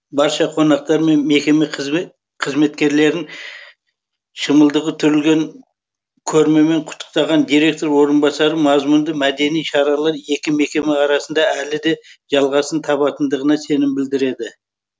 барша қонақтар мен мекеме қызметкерлерін шымылдығы түрілген көрмемен құттықтаған директор орынбасары мазмұнды мәдени шаралар екі мекеме арасында әлі де жалғасын табатындығына сенім білдіреді